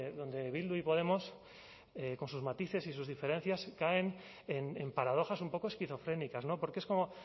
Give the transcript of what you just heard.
donde bildu y podemos con sus matices y sus diferencias caen en paradojas un poco esquizofrénicas porque es como